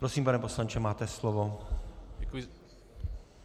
Prosím, pane poslanče, máte slovo.